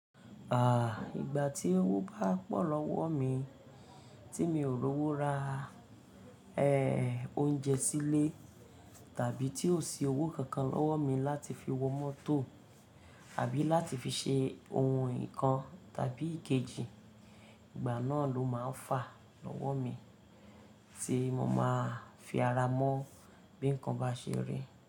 Ìgbà tí owó bá pọ̀ lọ́wọ mi tí mi ò rówó ra, oúnjẹ sílé tàbí tí ò sí owó kankan lọ́wọ́ mi láti fi wọ mọ́tò àbí láti fi ṣe ohun nǹkan tàbí ìkejì, ìgbà náà ló máa ń fà lọ́wọ́ mi tí mo máa fi ara mọ́ bí nǹkan bá ṣe rí.